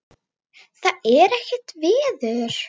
Það er ekkert veður.